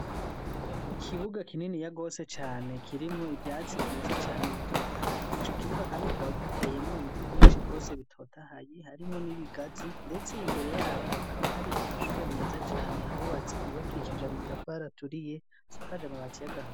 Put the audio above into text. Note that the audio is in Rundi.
Ikibuga kinini yagose cane kirimwo ivyatsi vyiza cane ibitotahaye ico kibuga, kandi kiraba giteyemo ibiti vyinshi rwose bitotahaye harimwo n'ibigazi, ndetse imbere yavyo hakaba hari amashure meza cane hawubatse yubakishije amatafu haraturiye sakaja amabati yagahaa.